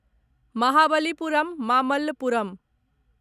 Mahabalipuram Mamallapuram